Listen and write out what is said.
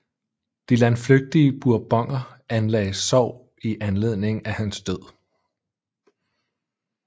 De landflygtige Bourboner anlagde sorg i anledning af hans død